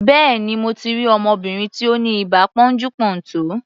Béèni, mo ti rí ọmọbìnrin tí ó ní ibà pọ́njú-pọ́ntọ̀.